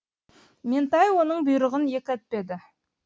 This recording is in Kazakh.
ментай оның бұйрығын екі етпеді